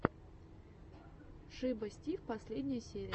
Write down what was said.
шиба стив последняя серия